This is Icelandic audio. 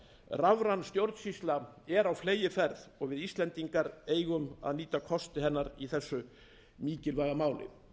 rafræn stjórnsýsla er á fleygiferð og við íslendingar eigum að nýta kosti hennar í þessu mikilvæga máli ég hef sömuleiðis farið þess á